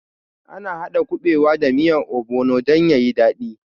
Ana haɗa kuɓewa da miyar obono dan yayi daɗi